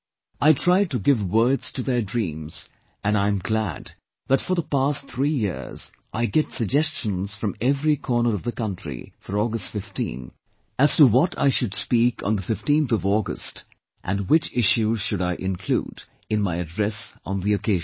I try to give words to their dreams, and I am glad that for the past 3 years, I get suggestions from every corner of the country for August 15, as to what I should speak on the 15th August and which issues should I include in my address on the occasion